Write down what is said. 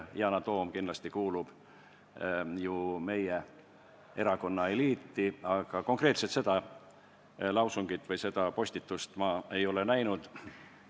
Yana Toom kindlasti kuulub ju meie erakonna eliiti, aga konkreetselt seda lausungit või seda postitust ei ole ma näinud.